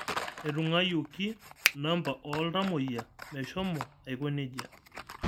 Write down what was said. Etung'uawioki namba oo ltamoyia meshomo aiko nejia